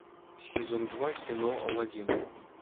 сезон два кино аладдин